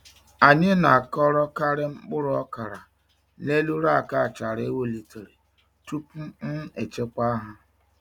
Anyị na-akọrọkarị mkpụrụ okra n’elu rack achara e welitere tupu um echekwa ha.